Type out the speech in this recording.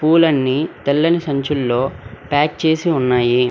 పూలన్నీ తెల్లని సంచుల్లో ప్యాక్ చేసి ఉన్నాయి.